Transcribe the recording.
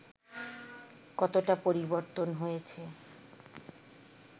কতোটা পরিবর্তন হয়েছে